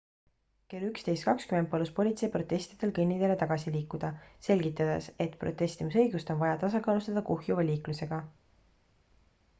kell 11.20 palus politsei protestijatel kõnniteele tagasi liikuda selgitades et protestimisõigust on vaja tasakaalustada kuhjuva liiklusega